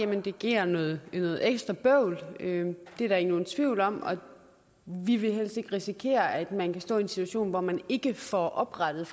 det giver noget ekstra bøvl det er der ikke nogen tvivl om og vi vil helst ikke risikere at man kan stå i en situation hvor man ikke får oprettet